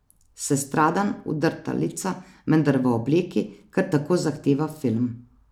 Sestradan, udrta lica, vendar v obleki, ker tako zahteva firma.